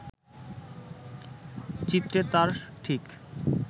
চিত্রে তার ঠিক